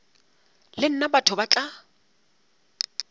le nna batho ba tla